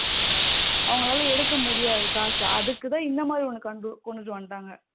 அவங்களால எடுக்க முடியாது காசு அதுக்கு தான் இந்த மாதிரி உனக்கு வந்தாங்க அதுக்கு தான் இந்த மாதிரி ஒன்னு கொண்டுட்டு வந்துட்டாங்க